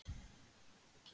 Rúrí, hvernig er veðurspáin?